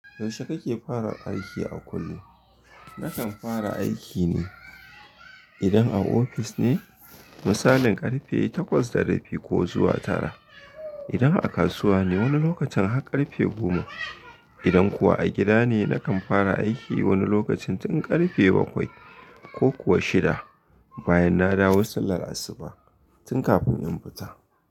Yaushe kake fara aiki a kullum? Nakan fara aikine idan a ofis ne, misalin ƙarfe takwas da rabi ko zuwa tara. Idan a kasuwa ne, wani lokacin har ƙarfe goma. Idan kuwa a gida ne, nakan fara aiki wani lokacin tun ƙarfe bakwai ko kuwa shida, bayan na dawo sallar asuba tun kafin in fita.